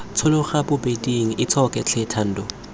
tshologa bobeding itshoke tlhe thando